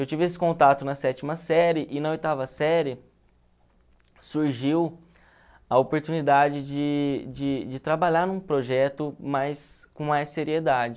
Eu tive esse contato na sétima série e na oitava série surgiu a oportunidade de de de trabalhar num projeto mais com mais seriedade.